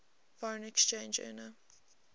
foreign exchange earner